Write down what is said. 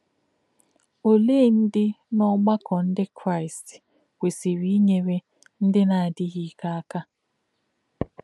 Ọ̀lē̄ ndí̄ n’ọ̀gbà̄kọ̄ Ndí̄ Kraị́st kwèsị̀rị̀ ínyèrè̄ ndí̄ nā̄-ádí̄ghí̄ íkè̄ ákà̄?